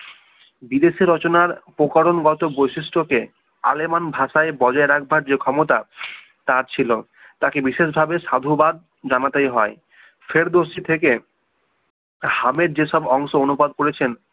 বিদেশে রচনার উপকরণগত বৈশিষ্ট্য কে আলেমান ভাষায় বজায় রাখবার যে ক্ষমতা তা ছিল তাকে বিশেষভাবে সাধুবাদ জানাতেই হয় ফেরদৌসি থেকে হামের যে সব অংশ অনুবাদ করেছেন